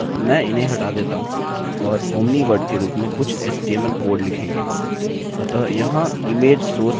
अतः में इन्हें हटा देता हूँ और omni वर्ड के रूप में कुछ html कोड लिखेंगे